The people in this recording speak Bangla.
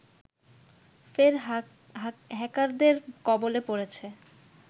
ফের হ্যাকারদের কবলে পড়েছে